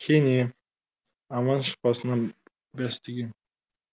кене аман шықпасынан бәс тігем